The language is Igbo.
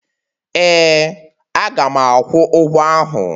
Ee. Aga m akwụ ụgwọ ahụ.